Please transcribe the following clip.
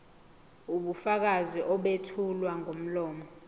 ubufakazi obethulwa ngomlomo